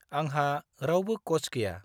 आंहा रावबो क'च गैया।